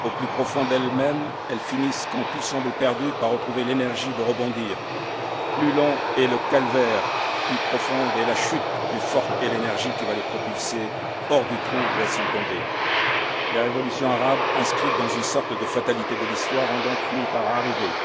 Au plus profond d'elles mêmes, elles finissent, quand tout semble perdu, par retrouver l'énergie de rebondir. Plus long est le calvaire, plus profonde est la chute, plus forte est l'énergie qui va les propulser hors du trou où elles sont tombées. Les révolutions arabes, inscrites dans une sorte de fatalité de l'Histoire, ont donc fini par arriver.